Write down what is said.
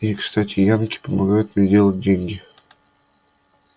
и кстати янки помогают мне делать деньги